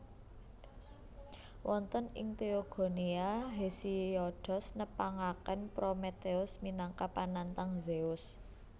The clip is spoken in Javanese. Wonten ing Theogonia Hesiodos nepangaken Prometheus minangka panantang Zeus